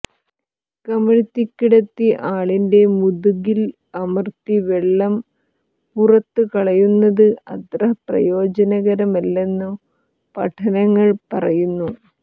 കമഴ്ത്തിക്കിടത്തി ആളിന്റെ മുതുകിൽ അമർത്തി വെള്ളം പുറത്തുകളയുന്നത് അത്ര പ്രയോജനകരമല്ലെന്നു പഠനങ്ങൾ പറയുന്നു